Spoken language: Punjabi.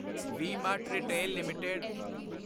we Mart Retail LTD